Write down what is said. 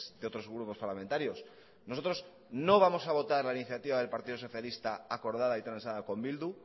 de otros grupos parlamentarios nosotros no vamos a votar la iniciativa del partido socialista acordada y transada con bildu